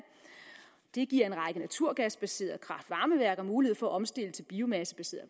det giver en række naturgasbaseret kraft varme værker mulighed for at omstille til biomassebaseret